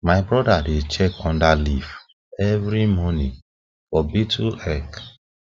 my brother dey check under leaf every morning for beetle egg